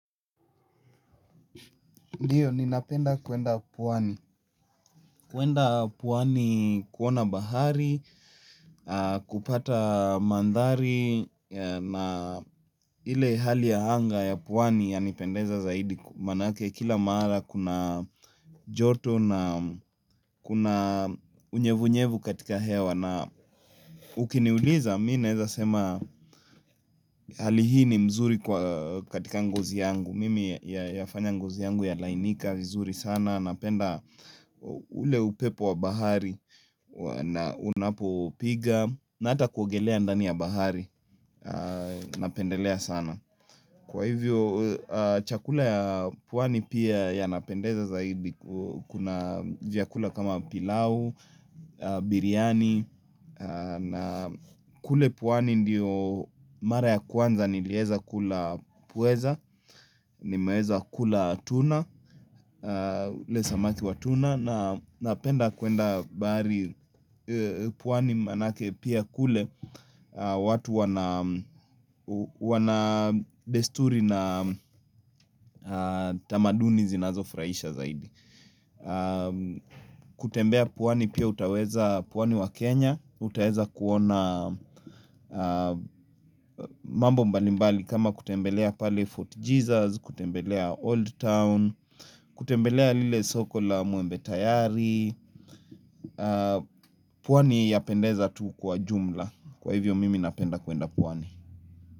Ndio ni napenda kuenda pwani. Kuenda puwani kuona bahari, kupata mandhari na ile hali ya hanga ya puwani ya nipendeza zaidi manake kila maara kuna joto na kuna unyevu unyevu katika hewa. Na ukiniuliza minaeza sema hali hii ni mzuri kwa katika ngozi yangu mimi ya ya fanya ngozi yangu ya lainika vizuri sana napenda ule upepo wa bahari na unapo piga na ata kuogelea ndani ya bahari napendelea sana kwa hivyo chakula ya puwani pia ya napendeza zaidi kuna vyakula kama pilau, biriani na kule pwani ndiyo mara ya kwanza nilieza kula pweza nimeeza kula tuna Lesamaki wa tuna na penda kuenda baari puwani manake pia kule watu wana besturi na tamaduni zinazofraisha zaidi kutembea pwani pia utaweza pwani wa Kenya Utaeza kuona mambo mbalimbali kama kutembelea pale Fort Jesus, kutembelea Old Town, kutembelea lile soko la muembe tayari, pwani yapendeza tu kwa jumla kwa hivyo mimi napenda kuenda pwani.